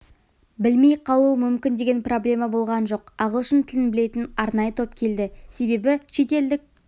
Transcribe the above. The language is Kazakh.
білмей қалуы мүмкін деген проблема болған жоқ ағылшын тілін білетін арнайы топ келді себебі шетелдік